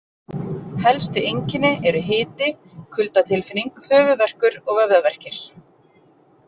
Helstu einkenni eru hiti, kuldatilfinning, höfðuðverkur og vöðvaverkir.